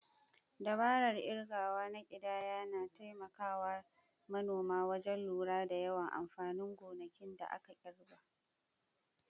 Dabarar kirgawa na kidayar na taimaka wa manoma wajen lura da yawan amfanin gonakin da aka girbe.